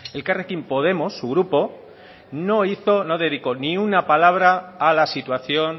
elkarrekin podemos su grupo no dedicó ni una palabra a la situación